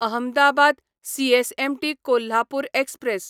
Ahmedabad CSMT Kolhapur express